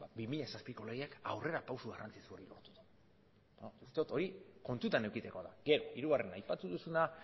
bi mila zazpiko legeak aurrerapauso garrantzitsua esaten dut hori kontutan edukitzekoa da hirugarrena aipatu duzuna